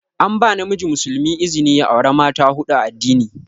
An ba namiji muslimi izni ya aura mata huɗu a addini.